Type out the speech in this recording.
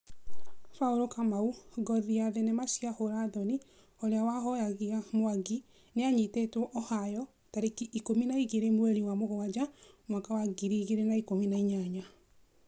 Paul Kamau: Ngothi ya thenema cia hũra thoni ũrĩa wahũoyagia Mwangi nĩanyitĩtwo Ohio tariki ikũmi na igĩrĩ mweri wa mũgwanja mwaka wa ngiri igĩrĩ na ikũmi na inyanya.